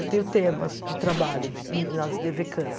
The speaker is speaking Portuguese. Eu tenho temas de trabalho de nas dê vê cams.